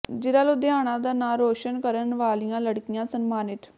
ਜ਼ਿਲ੍ਹਾ ਲੁਧਿਆਣਾ ਦਾ ਨਾਂ ਰੋਸ਼ਨ ਕਰਨ ਵਾਲੀਆਂ ਲੜਕੀਆਂ ਸਨਮਾਨਿਤ